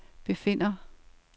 befinder